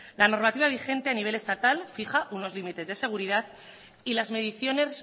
la normativa vigente a nivel estatal fija unos límites de seguridad y las mediciones